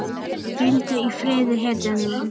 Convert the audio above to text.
Hvíldu í friði hetjan mín.